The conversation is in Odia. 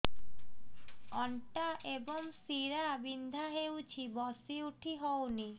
ଅଣ୍ଟା ଏବଂ ଶୀରା ବିନ୍ଧା ହେଉଛି ବସି ଉଠି ହଉନି